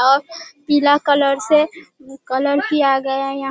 और पीला कलर से कलर किया गया यहां --